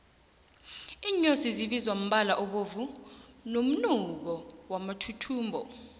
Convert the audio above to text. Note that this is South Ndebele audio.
iinyosi zibizwa mbala obovu nomunuko wamathuthumbo